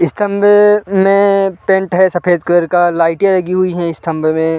स्तम्भ में मे पेंट है सफेद कलर का लाइटे लगी हुई है स्तंभ में--